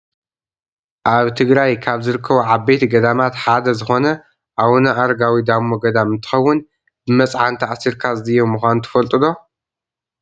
ኣብ ትግራይ ካብ ዝርከቡ ዓበይቲ ገዳማት ሓደ ዝኮነ፣ ኣውነ ኣረጋዊ ዳሞ ገዳም እንትከውን፣ ብመፅዓን ተኣሲርካ ዝድየብ ምኳኑ ትፈልጡ ዶ ?